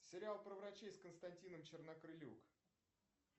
сериал про врачей с константином чернокрылюк